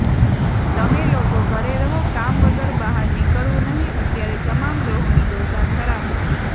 તમે લોકો ઘરે રહો કામ વગર બહાર નીકળવુ નહીં અત્યારે તમામ ગ્રહોની દશા ખરાબ છે